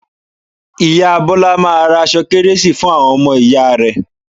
Ìyá Bọ́lá máa ra aṣọ kértésì fún àwọn ọmọ ìyá rẹ̀